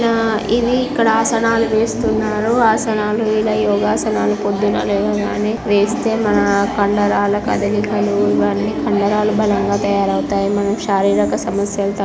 ఆ ఇవి ఇక్కడ ఆసనాలు వేస్తున్నారు. ఆసనాలు ఇలా యోగ ఆసనాలు పొద్దున్నే లేవగానే వేస్తే మన కండరాలు కదిలికలు ఇవన్నీ కండరాలు బలంగా తయారవుతాయి. మన శారీరక సమస్యలు--